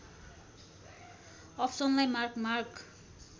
अप्सनलाई mark mark